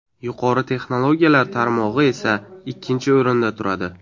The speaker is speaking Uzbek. Yuqori texnologiyalar tarmog‘i esa ikkinchi o‘rinda turadi.